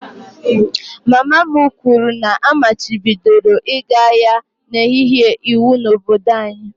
Mama m kwuru na a machibidoro ịga ahịa n'ehihie iwu n'obodo anyị